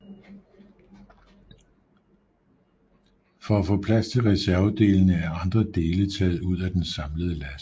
For at få plads til reservedelene er andre dele taget ud af den samlede last